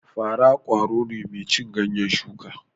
Fara ƙwaro ne mai cin ganyen shuka